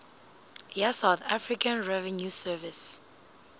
ya south african revenue service